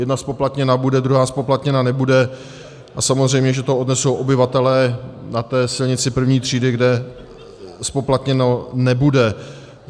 Jedna zpoplatněna bude, druhá zpoplatněna nebude, a samozřejmě že to odnesou obyvatelé na té silnici první třídy, kde zpoplatněno nebude.